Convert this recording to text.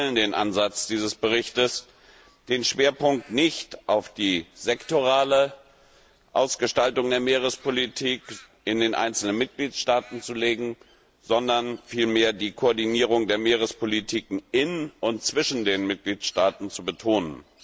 Wir teilen den Ansatz dieses Berichts, den Schwerpunkt nicht auf die sektorale Ausgestaltung der Meerespolitik in den einzelnen Mitgliedstaaten zu legen, sondern vielmehr die Koordinierung der Meerespolitiken in und zwischen den Mitgliedstaaten zu betonen.